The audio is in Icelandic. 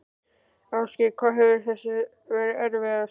Ásgeir: Hvað hefur verið erfiðast?